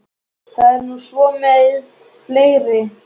Það er nú svo með fleiri.